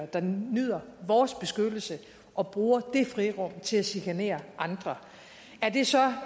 der nyder vores beskyttelse og bruger det frirum til at chikanere andre er det så